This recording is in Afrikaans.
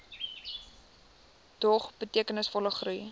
dog betekenisvolle groei